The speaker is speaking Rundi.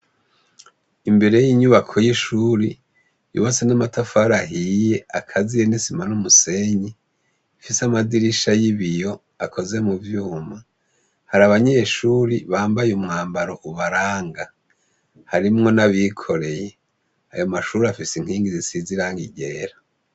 Imbere yinyubako yishure yubatse namatafari ahiye agaziye nisima numusenyi ifise amadirisha yibiyo akoze muvyuma hari abanyeshure bambaye umwambaro ubaranga harimwo nabikoreye ayo mashure afise inkingi zisize irangi ryera